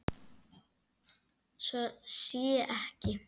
Svo sé ekki.